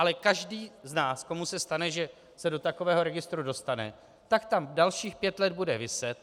Ale každý z nás, komu se stane, že se do takového registru dostane, tak tam dalších pět let bude viset.